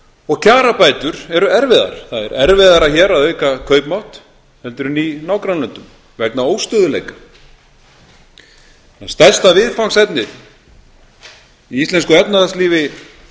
og kjarabætur eru erfiðar það er erfiðara hér að auka kaupmátt heldur en í nágrannalöndum vegna óstöðugleika þannig að stærsta viðfangsefni í íslensku efnahagslífi